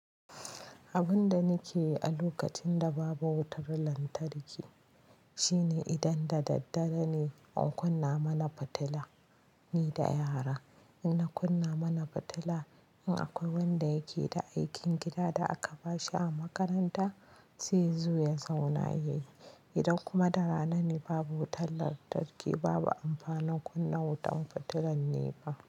Abin da nake yi a lokacin da babu wutar lantarki shine idan da daddare ne, in kunna mana fitila ni da yara. In na kunna mana fitila, in akwai wanda yake da aikin gida da aka bashi a makaranta, sai ya zo ya zauna ya yi. Idan kuma da rana ne babu wutar lantarki, babu amfanin kunna wutan fitilar ne ba.